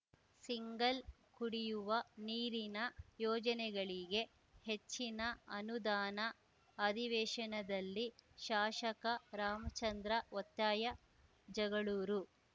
single ಕುಡಿಯುವ ನೀರಿನ ಯೋಜನೆಗಳಿಗೆ ಹೆಚ್ಚಿನ ಅನುದಾನ ಅಧಿವೇಶನದಲ್ಲಿ ಶಾಷಕ ರಾಮಚಂದ್ರ ಒತ್ತಾಯ ಜಗಳೂರು